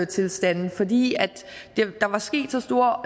tilstande fordi der var sket så store